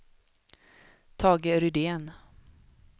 Tage Rydén